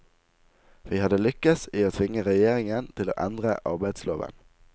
Vi hadde lykkes i å tvinge regjeringen til å endre arbeidsloven.